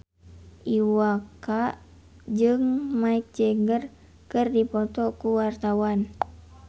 Iwa K jeung Mick Jagger keur dipoto ku wartawan